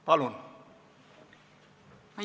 Palun!